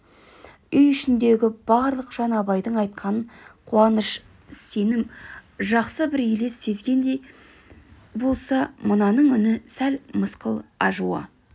үй ішіндегі барлық жан абайдың айтқанынан қуаныш сенім жақсы бір елес сезгендей болса мынаның үні сәл мысқыл ажуа